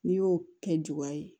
N'i y'o kɛ juba ye